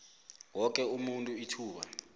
woke umuntu ithuba